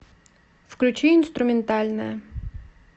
включи инструментальная